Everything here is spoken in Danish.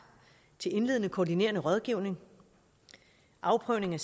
til en indledende koordinerende rådgivning afprøvning af